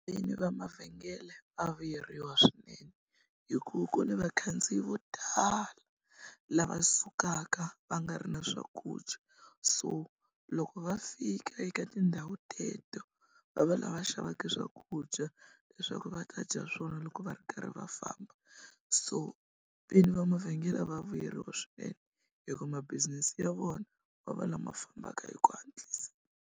Vinyi va mavhengele va vuyeriwa swinene hikuva ku na vakhandziyi vo tala lava sukaka va nga ri na swakudya so loko va fika eka tindhawu teto va va lava xavaka swakudya leswaku va ta dya swona loko va ri karhi va famba so vini va mavhengele va vuyeriwa swinene hikuva ma-business ya vona va va lama fambaka hi ku hatlisa.